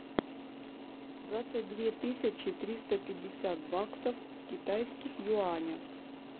двадцать две тысячи триста пятьдесят баксов в китайских юанях